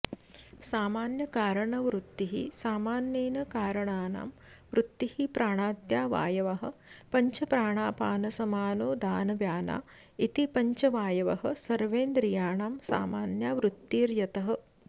सामान्यकारनवृत्तिः सामान्येन करणानां वृत्तिः प्राणाद्या वायवः पञ्च प्राणापानसमानोदानव्याना इति पञ्च वायवः सर्वेन्द्रियाणां सामान्या वृत्तिर्यतः